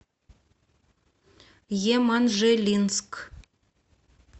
еманжелинск